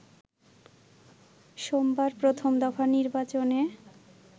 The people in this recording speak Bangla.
সোমবার প্রথম দফার নির্বাচনে